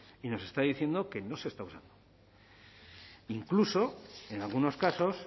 y nos está diciendo que no se está usando incluso en algunos casos